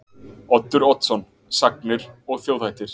Oddur Oddsson: Sagnir og þjóðhættir.